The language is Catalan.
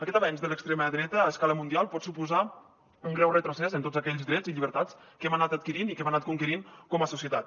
aquest avenç de l’extrema dreta a escala mundial pot suposar un greu retrocés en tots aquells drets i llibertats que hem anat adquirint i que hem anat conquerint com a societat